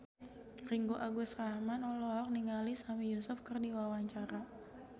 Ringgo Agus Rahman olohok ningali Sami Yusuf keur diwawancara